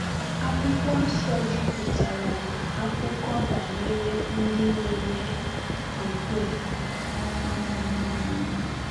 Akwụkwọ Nsọ juputara na akụkọ banyere ndị nwere okwukwe. um